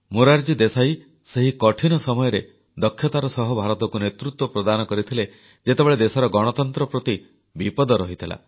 ମୋରାରଜୀ ଦେଶାଇ ସେହି କଠିନ ସମୟରେ ଦକ୍ଷତାର ସହ ଭାରତକୁ ନେତୃତ୍ୱ ପ୍ରଦାନ କରିଥିଲେ ଯେତେବେଳେ ଦେଶର ଗଣତନ୍ତ୍ର ପ୍ରତି ବିପଦ ରହିଥିଲା